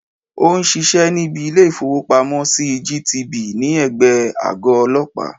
Ó n sisé níbi Ilé ìfowópamọ́ sí GTB ní ègbé e àgọ́ ọlọ́pàá